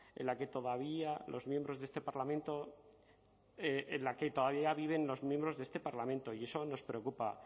en la que todavía los miembros de este parlamento en la que todavía viven los miembros de este parlamento y eso nos preocupa